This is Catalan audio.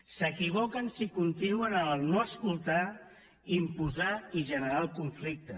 s’equivoquen si continuem amb no escoltar imposar i generar el conflicte